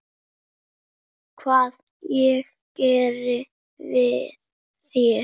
Hvað ég geri við þær?